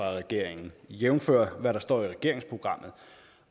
regeringen jævnfør hvad der står i regeringsprogrammet